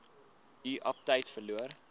u aptyt verloor